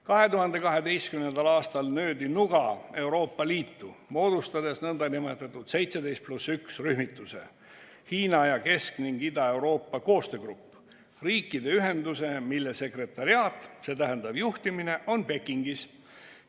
2012. aastal löödi nuga Euroopa Liitu, kui moodustati nn 17 + 1 rühmitus, Kesk‑ ning Ida-Euroopa ja Hiina koostöögrupp, riikide ühendus, mille sekretariaat, st juhtimine on Pekingis.